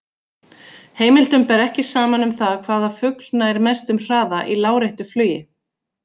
Heimildum ber ekki saman um það hvaða fugl nær mestum hraða í láréttu flugi.